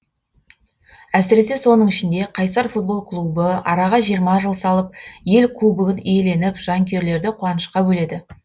әсіресе соның ішінде қайсар футбол клубы араға жиырма жыл салып ел кубогын иеленіп жанкүйерлерді қуанышқа бөледі